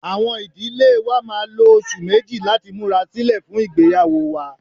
Awọn idile wa máà lo oṣu meji lati mura silẹ fun igbeyawo wa.